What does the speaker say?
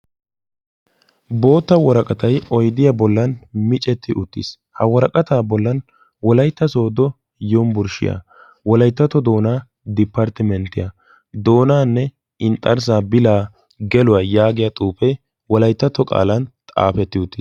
Bootta woraqatay oydiya bollan micetti uttiis. ha woraqataa bollan wolaitta soodo yumbburshshiyaa wolaittato doonaa diparttimenttiyaa doonaanne inxxarssaa bilaa geluwaa yaagiya xuufhee walayttato qaalan xaafetti uttis.